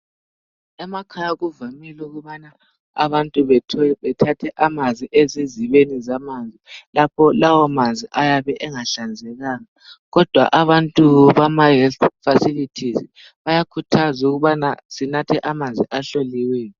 Emakhaya kuvamile ukubana abantu bethathe amanzi ezizibeni zamanzi. Lapha lawo manzi ayabe engahlanzekanga ,kodwa abantu bama "health facilities " bayakhuthaza ukubana sinathe amanzi ahloliweyo.